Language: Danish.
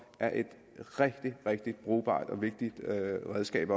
er et rigtig rigtig brugbart og vigtigt redskab